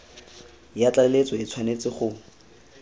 ya tlaleletso e tshwanetse go